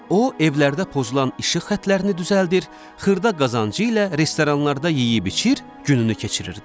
O evlərdə pozulan işıq xətlərini düzəldir, xırda qazancı ilə restoranlarda yeyib-içir, gününü keçirirdi.